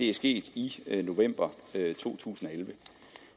er sket i november to tusind og elleve